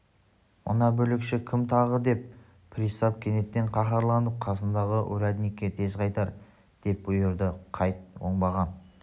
мына бүлікші кім тағы деп пристав кенет қаһарланып қасындағы урядникке тез қайтар деп бұйырды қайт оңбаған